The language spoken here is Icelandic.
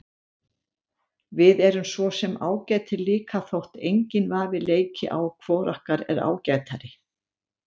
Við erum svo sem ágætir líka þótt enginn vafi leiki á hvor okkar er ágætari.